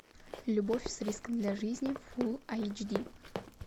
любовь с риском для жизни фулл айч ди